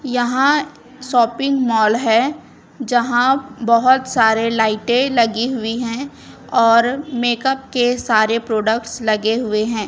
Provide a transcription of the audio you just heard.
यहाँ shopping mall है जहाँ बहोत सारे लाइटे लगी हुए है। और मेकअप के सारे प्रोडक्ट्स लगे हुए हैं।